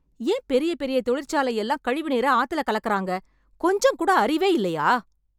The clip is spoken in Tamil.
ஏன் பெரிய பெரிய தொழிற்சாலை எல்லாம் கழிவுநீர ஆத்துல கலக்குறாங்க. கொஞ்சம் கூட அறிவே இல்லையா?